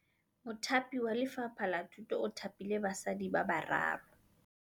Mothapi wa Lefapha la Thutô o thapile basadi ba ba raro.